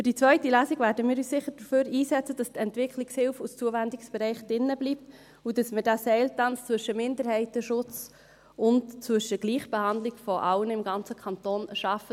Für die zweite Lesung werden wir uns sicher dafür einsetzen, dass die Entwicklungshilfe als Zuwendungsbereich drinbleibt, und dass wir diesen Seiltanz zwischen Minderheitenschutz und Gleichbehandlung aller im ganzen Kanton schaffen.